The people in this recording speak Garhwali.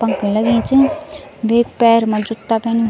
पंख लगीं च वेक पैर मा जुत्ता पैन्यूं।